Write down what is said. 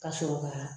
Ka sɔrɔ ka